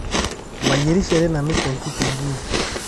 Mayierishere nanu telkutunguu